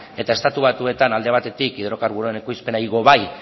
eta estatu batuetan alde batetik hidrokarburoaren ekoizpena igo bai